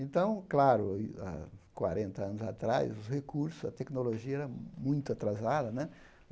Então, claro, há quarenta anos atrás, os recursos, a tecnologia era muito atrasada né.